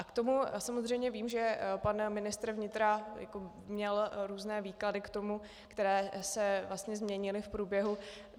A k tomu samozřejmě vím, že pan ministr vnitra měl různé výklady k tomu, které se vlastně změnily v průběhu.